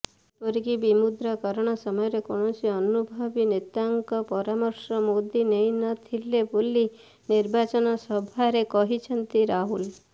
ଏପରିକି ବିମୁଦ୍ରାକରଣ ସମୟରେ କୌଣସି ଅନୁଭବୀ ନେତାଙ୍କ ପରାମର୍ଶ ମୋଦି ନେଇନଥିଲେ ବୋଲି ନିର୍ବାଚନ ସଭାରେ କହିଛନ୍ତି ରାହୁଲ